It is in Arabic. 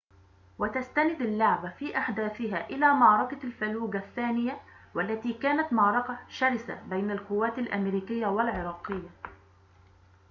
وتستند اللعبة في أحداثها إلى معركة الفلوجة الثانية والتي كانت معركةً شرسةً بين القوات الأمريكية والعراقية